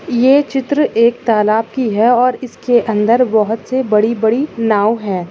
ये चित्र एक तालाब कि है और इसके अंदर बहोत से बड़ी-बड़ी नाव है।